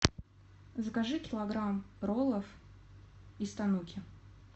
закажи килограмм роллов из тануки